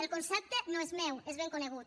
el concepte no és meu és ben conegut